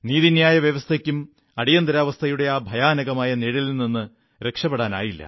നീതിന്യായ വ്യവസ്ഥയ്ക്കും അടിയന്തരാവസ്ഥയുടെ ആ ഭയാനകമായ നിഴലിൽ നിന്ന് രക്ഷപെടാനായില്ല